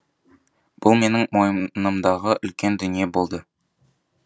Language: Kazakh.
бұл менің мойнымдағы үлкен дүние болды